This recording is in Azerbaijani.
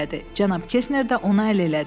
Cənab Kesner də ona əl elədi.